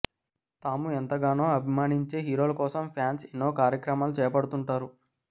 తాము ఎంతగానో అభిమానించే హీరోల కోసం ఫ్యాన్స్ ఎన్నో కార్యక్రమాలు చేపడుతుంటారు